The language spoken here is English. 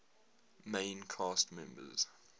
main cast members